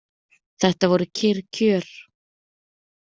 Þetta voru kyrr kjör.